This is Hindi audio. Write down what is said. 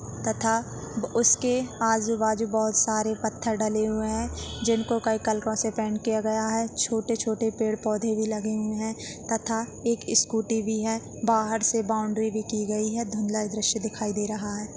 तथा उसके आजु बाजु बहुत सारे पत्थर डले हुए है जिनको कई कलको से पेन्ट किया गया है छोटे छोटे पेड़ पोधे भी लगे हुए है तथा एक स्कूटी भी है बाहर से बाउंड्री भी की गई है धुंधला दृश्य दिखाई दे रहा है।